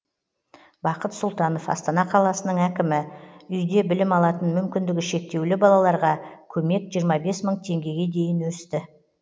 бақыт сұлтанов астана қаласының әкімі үйде білім алатын мүмкіндігі шектеулі балаларға көмек жиырма бес мың теңгеге дейін өсті